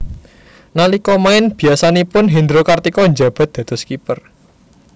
Nalika main biyasanipun Hendro Kartiko njabat dados Kiper